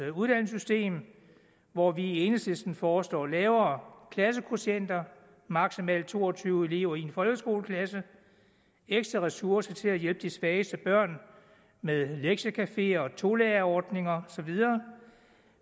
uddannelsessystem hvor vi i enhedslisten foreslår lavere klassekvotienter maksimalt to og tyve elever i en folkeskoleklasse ekstra ressourcer til at hjælpe de svageste børn med lektiecafeer tolærerordninger og så videre